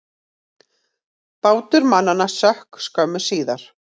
Bátur mannanna sökk skömmu síðar.